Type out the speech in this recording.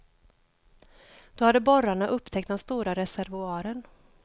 Då hade borrarna upptäckt den stora reservoaren.